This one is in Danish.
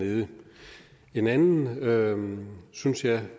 nede en anden synes jeg